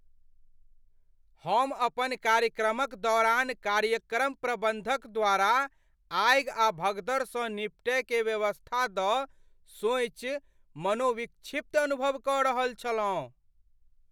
हम अपन कार्यक्रमक दौरान कार्यक्रम प्रबन्धक द्वारा आगि आ भगदड़सँ निपटय के व्यवस्था द सोइच मनोविक्षिप्त अनुभव क रहल छलहुँ।